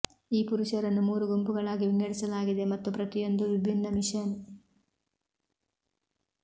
ಈ ಪುರುಷರನ್ನು ಮೂರು ಗುಂಪುಗಳಾಗಿ ವಿಂಗಡಿಸಲಾಗಿದೆ ಮತ್ತು ಪ್ರತಿಯೊಂದೂ ವಿಭಿನ್ನ ಮಿಷನ್